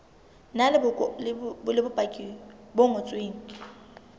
na le bopaki bo ngotsweng